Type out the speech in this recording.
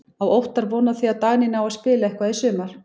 Á Óttar von á því að Dagný nái að spila eitthvað í sumar?